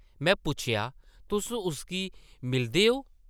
में पुच्छेआ, ‘‘तुस उस्सी मिलदे ओ?’’